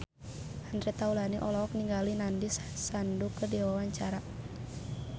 Andre Taulany olohok ningali Nandish Sandhu keur diwawancara